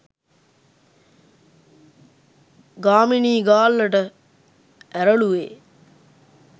ගාමිණී ගාල්ලට ඇරළුවේ